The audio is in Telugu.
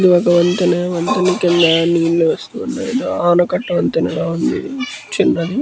ఇది ఒక వంతెన. వంతెన కింద నీళ్ళు వస్తున్నాయి. ఆనకట్ట వంతెనలా ఉంది. చిన్నది--